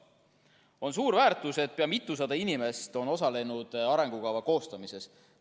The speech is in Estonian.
On suur väärtus, et pea mitusada inimest on osalenud arengukava koostamises.